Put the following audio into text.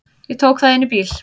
Ég tók það inn í bíl.